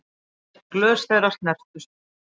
Glös þeirra snertust.